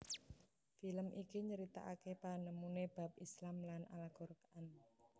Film iki nyeritaake panemune bab Islam lan Al Quran